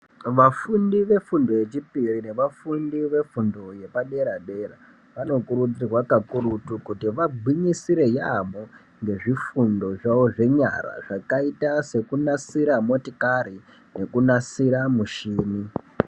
Vafundi vefundo yechipiri nevafundi vefundo yepadera-dera vanokurudzirwa kakurutu kuti vagwinyisire yaamho ngezvifundo zvawo zvenyara zvakaita sekunasira motikari nekunasira michini.